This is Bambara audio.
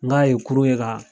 N k'a ye kurun ye kaa